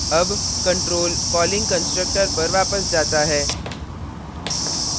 अब control calling constructor पर वापस जाता है